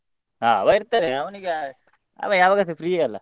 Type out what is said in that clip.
ಹಾ ಅವಾ ಇರ್ತಾನೆ ಅವನಿಗೆ ಅವ ಯಾವಾಗಸ free ಅಲ್ಲ.